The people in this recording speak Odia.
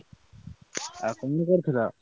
ଆଉ କଣ କରୁଥିଲ?